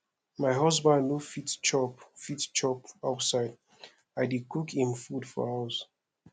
my husband no fit chop fit chop outside i dey cook im food for house